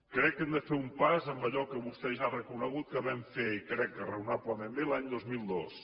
crec que hem de fer un pas en allò que vostè ja ha reconegut que vam fer i crec que raonablement bé l’any dos mil dos